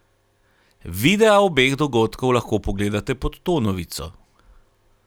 Videa obeh dogodkov lahko pogledate pod to novico.